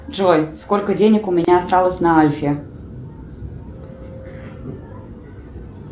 джой сколько денег у меня осталось на альфе